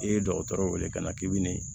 I ye dɔgɔtɔrɔw wele ka na k'i bɛ nin